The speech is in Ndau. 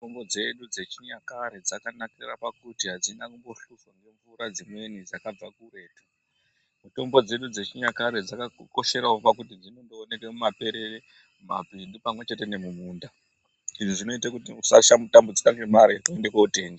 Mitombo dzedu dzechinyakare dzakanakira pakuti adzina kumbohluzwa ngemvura dzimweni dzakabva kuretu. Mitombo dzedu dzechinyakare dzakakosherawo pakuti dzinondowoneka mumaperere, nemumapindu pamwechete nemumunda, izvi zvinoita kuti tisachatambudzika ngemari yekuende kotenga.